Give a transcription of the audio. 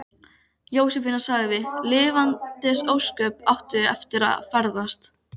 Gottskálk, stilltu niðurteljara á átta mínútur.